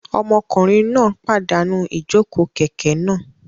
Ọmọkùnrin náà pàdánù ijoko kẹkẹ náà